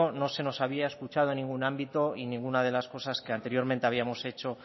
no se nos había escuchado en ningún ámbito y ninguna de las cosas que anteriormente habíamos hecho